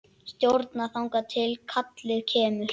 Stjórna þangað til kallið kemur.